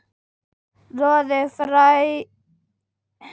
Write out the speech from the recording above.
Roði færist yfir andlitið þegar hann þvertekur fyrir það.